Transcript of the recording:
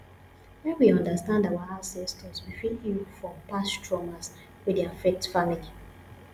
when we understand our ancestors we fit heal from past traumas wey dey affect family